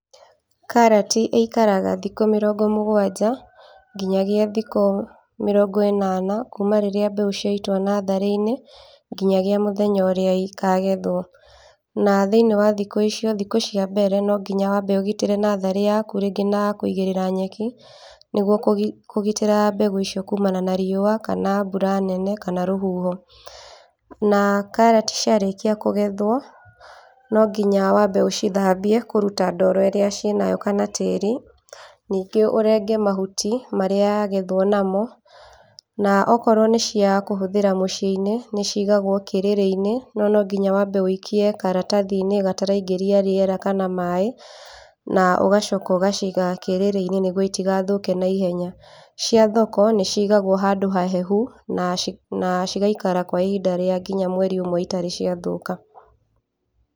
Karati ĩikaraga thikũ mĩrongo mũgwanja nginyagia thikũ mĩrongo ĩnana kuuma rĩrĩa mbeũ ciaitwo natharĩ-inĩ nginyagia mũthenya ũrĩa ikagethwo. Na thĩiniĩ wa thikũ icio, thikũ cia mbere nonginya wambe ũgitĩre natharĩ yaku rĩngĩ na kũigĩrĩra nyeki nĩguo kũgi, kũgitĩra mbegũ icio kumana na riũwa, kana mbura nene kana rũhuho. Na karati ciarĩkia kũgethwo, no nginya wambe ũcithambie kũruta ndoro ĩrĩa ciĩnayo kana tĩĩri, ningĩ ũrenge mahuti marĩa yagethwo namo, na okoro nĩcia kũhũthĩra mũciĩ-inĩ, nĩcigagwo kĩrĩrĩ-inĩ no nonginya wambe wĩikie karatathi-inĩ gataraingĩria rĩera kana maaĩ, na ũgacoka ũgaciga kĩrĩrĩ-inĩ nĩguo itigathũke naihenya. Cia thoko nĩcigagwo handũ hahehu, na ci, na cigaikara kwa ihinda rĩa nginya mweri ũmwe itarĩ ciathũka.